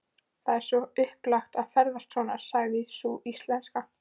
Það er svo upplagt að ferðast svona, sagði sú íslenska.